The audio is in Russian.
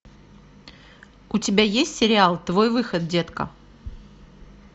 у тебя есть сериал твой выход детка